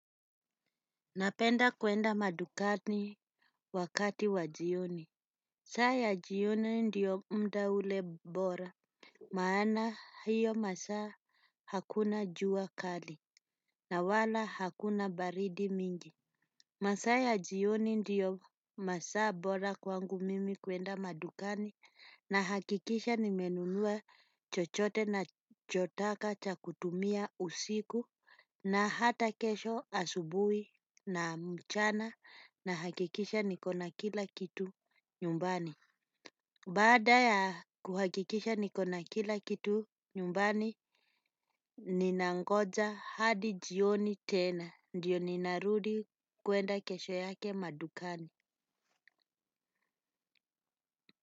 Napenda kwenda madukani wakati wajioni. Saa ya jioni ndio mda ule bora. Maana hiyo masaa hakuna jua kali. Na wala hakuna baridi mingi. Masaa ya jioni ndiyo masaa bora kwangu mimi kwenda madukani. Na hakikisha nimenunua chochote nachotaka cha kutumia usiku. Na hata kesho asubuhi na mchana na hakikisha nikona kila kitu nyumbani. Baada ya kuhakikisha nikona kila kitu nyumbani ninangoja hadi jioni tena ndio ninarudi kwenda kesho yake madukani.